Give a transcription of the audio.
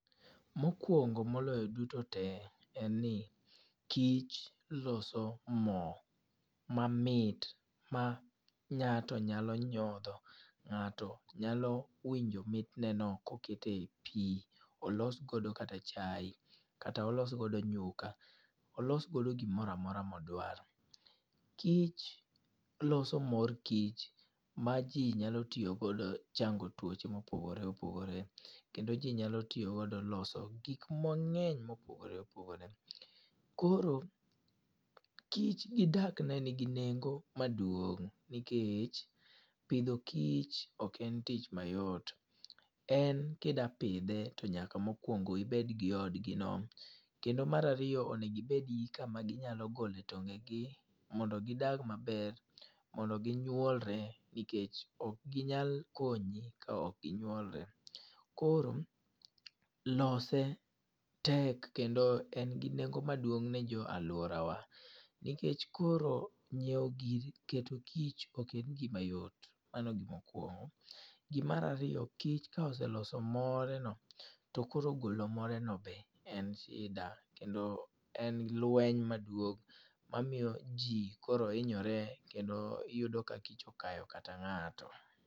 Mokwongo moloyo duto te en ni kich loso mo mamit, ma ngáto nyalo nyodho. Ngáto nyalo winjo mitneno koket e pi, olos go kata chae. Kata olos godo nyuka, olos godo gimoro amora modwaro. Kich loso mor kich, ma ji nyalo tiyo godo chango tuoche ma opogore opogore. Ke ji nyalo tiyogo loso gik mangény ma opogore opogore. Koro kich gidak ne nigi nengo maduong'. Nikech pidho kich ok en tich mayot. En ka idwa pidhe to nyaka mokwongo ibed gi odgi no. Kendo mar ariyo onego ibed gi kama ginyalo gole tonge gi, mondo gidag maber. Mondo ginyuolre, nikech ok ginyal konyi ka okginyuolre. Koro lose tek kendo en gi nengo maduong' ne go alworawa. Nikech koro nyiewo keto kich ok en gima yot. Mano e gima okwongo. Gimar ariyo, kich ka oseloso more no, to koro golo more no be en shida, kendo en lweny maduong', mamiyo ji koro hinyore kendo iyudo ka kich okayo kata ngáto.